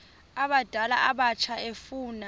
abadala abatsha efuna